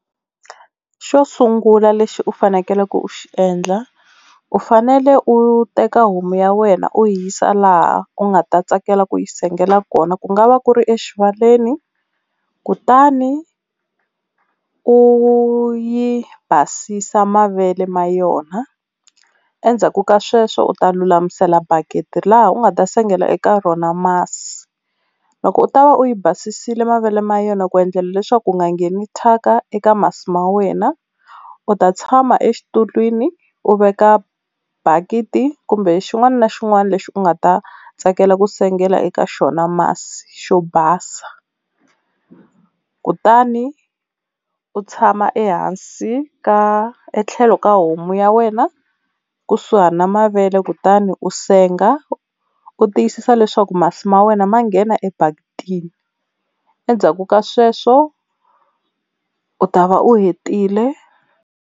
Xo sungula lexi u fanekeleke u xi endla u fanele u teka homu ya wena u yi yisa laha u nga ta tsakela ku yi sengela kona, ku nga va ku ri exivaleni kutani u yi basisa mavele ma yona endzhaku ka sweswo u ta lulamisela bakiti laha u nga ta sengela eka rona masi. Loko u ta va u yi basisile mavele ma yona ku endlela leswaku ku nga ngheni thyaka eka masi ma wena u ta tshama exitulwini u veka bakiti kumbe xin'wana na xin'wana lexi u nga ta tsakela ku sengela eka xona masi, xo basa. Kutani u tshama ehansi ka etlhelo ka homu ya wena kusuhani na mavele kutani u senga u tiyisisa leswaku masi ma wena ma nghena ebakitini endzhaku ka sweswo u ta va u hetile.